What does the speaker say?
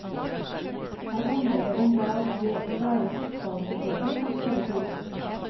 Her handler det om hva det å være fotballsupporter kan føre til.